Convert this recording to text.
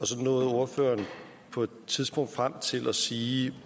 så nåede ordføreren på et tidspunkt frem til at sige